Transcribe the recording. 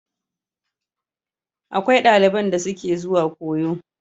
Akwai daliban da suke zuwa koyo.